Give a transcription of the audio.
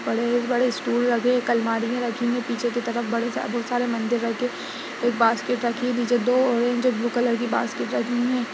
बड़े-बड़े स्टूल लगे है एक अलमारी में रखी हुई पीछे की तरफ बड़े सारे बहुत सारे मंदिर बैठे है बास्केट रखी है पीछे दो ऑरेंज और ब्लू कलर की बास्केट है।